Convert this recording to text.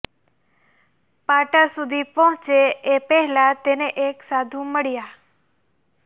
પાટા સુધી પહોંચે એ પહેલાં તેને એક સાધુ મળ્યા